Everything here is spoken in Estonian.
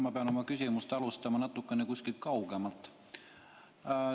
Ma pean oma küsimust alustama natukene kaugemalt.